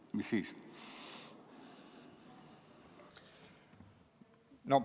Mis siis?